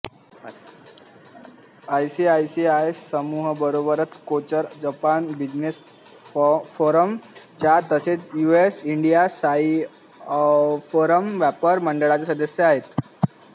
ICICI समूहाबरोबरच Kochhar Japan business forum च्या तसेच युएस इंडिया सीईओफोरम व्यापार मंडळाच्या सदस्य आहेत